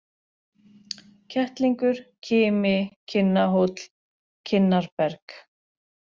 Kettlingur, Kimi, Kinnahóll, Kinnarberg